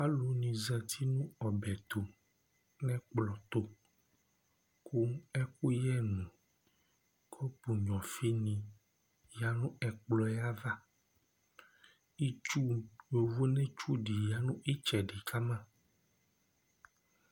Alu ni zɛti nʋ ɔbɛ tu nʋ ɛkplɔ tu kʋ ɛkuyɛ nu kɔpu nyʋa ɔfi ni ya nʋ ɛkplɔ yɛ ava Itsu, yovone tsu di ya nʋ itsɛdi kama